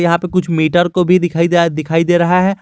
यहां पे कुछ मीटर को भी दिखाई दिया दिखाई दे रहा है।